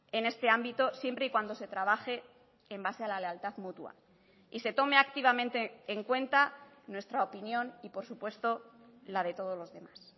en este ámbito siempre y cuando se trabaje en base a la lealtad mutua y se tome activamente en cuenta nuestra opinión y por supuesto la de todos los demás